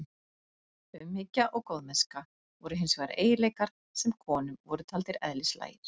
Umhyggja og góðmennska voru hins vegar eiginleikar sem konum voru taldir eðlislægir.